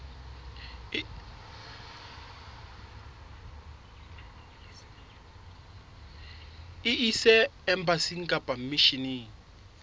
e ise embasing kapa misheneng